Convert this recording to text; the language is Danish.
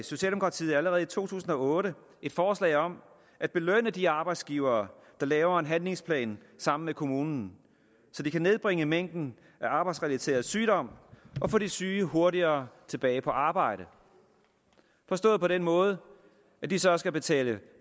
socialdemokratiet allerede i to tusind og otte et forslag om at belønne de arbejdsgivere der laver en handlingsplan sammen med kommunen så de kan nedbringe mængden af arbejdsrelateret sygdom og få de syge hurtigere tilbage på arbejde forstået på den måde at de så skal betale